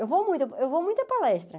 Eu vou muito eu vou muito a palestra.